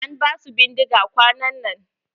An ba su bindiga kwanan nan.